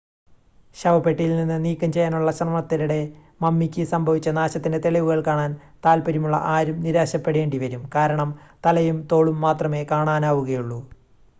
ശവപ്പെട്ടിയിൽ നിന്ന് നീക്കംചെയ്യാനുള്ള ശ്രമത്തിനിടെ മമ്മിക്ക് സംഭവിച്ച നാശത്തിൻ്റെ തെളിവുകൾ കാണാൻ താൽപ്പര്യമുള്ള ആരും നിരാശപെടേണ്ടിവരും കാരണം തലയും തോളും മാത്രമേ കാണാനാവുകയുള്ളൂ